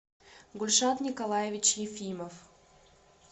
гульшат николаевич ефимов